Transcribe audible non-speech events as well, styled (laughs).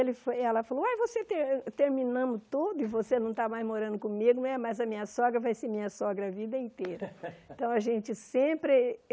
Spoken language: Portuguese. Ele foi ela falou, uai você ter terminamos tudo e você não está mais morando comigo, é mas a minha sogra vai ser minha sogra a vida inteira. (laughs) então a gente sempre